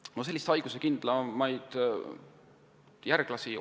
Otsitaksegi selliseid haiguskindlamaid järglasi.